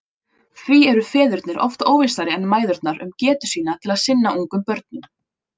Því eru feðurnir oft óvissari en mæðurnar um getu sína til að sinna ungum börnum.